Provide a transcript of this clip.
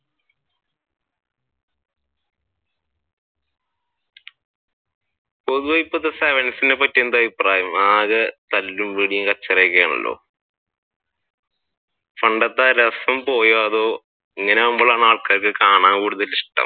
പൊതുവെ ഇപ്പഴത്തെ sevens നെ പറ്റി എന്താണ് അഭിപ്രായം ആകെ തല്ലുപിടി കച്ചറയും ഒക്കെയാണല്ലോ. പണ്ടത്തെ രസം പോയോ അതോ